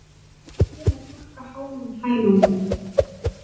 Búin að pakka háu hælunum